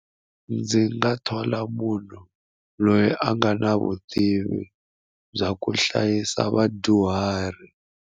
Ndzi nga thola munhu loyi a nga na vutivi bya ku hlayisa vadyuhari.